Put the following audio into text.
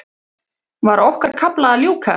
Var okkar kafla að ljúka?